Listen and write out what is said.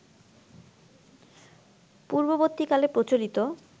পূর্ববর্তীকালে প্রচলিত